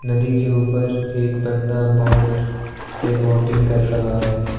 नदी के ऊपर एक बंदा बोट से बोटिंग कर रहा है।